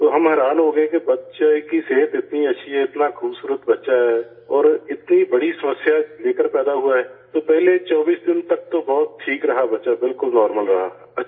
تو ہم حیران ہو گئے کہ بچے کی صحت اتنی اچھی ہے، اتنا خوبصورت بچہ ہے اور اتنا بڑا مسئلہ لے کر پیدا ہوا ہے تو پہلے 24 دن تک تو بہت ٹھیک رہا، بچہ بالکل نارمل رہا